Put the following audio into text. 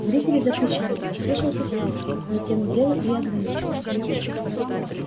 зрители закричали послышался свист но тем дело и ограничилось